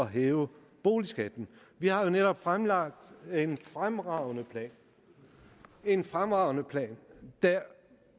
hæve boligskatten vi har jo netop fremlagt en fremragende en fremragende plan der